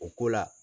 O ko la